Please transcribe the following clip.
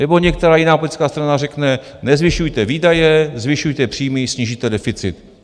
Nebo některá jiná politická strana řekne: Nezvyšujte výdaje, zvyšujte příjmy, snížíte deficit.